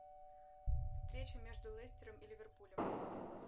встреча между лестером и ливерпулем